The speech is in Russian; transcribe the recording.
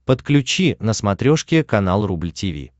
подключи на смотрешке канал рубль ти ви